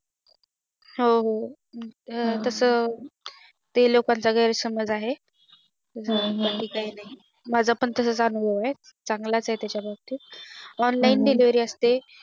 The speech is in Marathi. हो हो तस ते लोकांचं गैरसमझा आहे हम्म तस काही नाही माझं पण तस अनुभव आहे चांगलाच आहे त्याच्या बाबतीत Online delivery असते